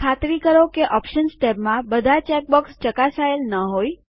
ખાતરી કરો કે ઓપ્શન્સ ટેબમાં બધા ચેક બોક્સ ચકાસાયેલ ન હોય